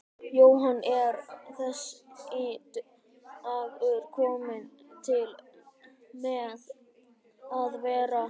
Jóhann: Er þessi dagur kominn til með að vera?